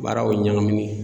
Baaraw ɲagaminen.